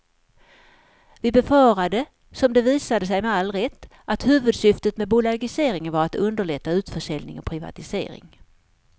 Vi befarade, som det visat sig med all rätt, att huvudsyftet med bolagiseringen var att underlätta utförsäljning och privatisering.